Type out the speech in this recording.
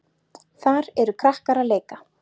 Þar eru krakkar að leika.